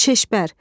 Şeşpər,